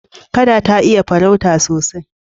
Kada ta iya farauta sosai.